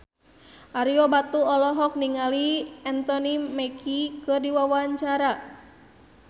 Ario Batu olohok ningali Anthony Mackie keur diwawancara